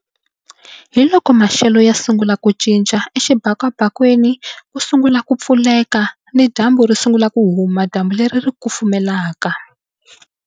Hi loko maxelo ya sungula ku cinca exibakabakeni ku sungula ku pfuleka ni dyambu ri sungula ku huma dyambu leri ri kufumelaka.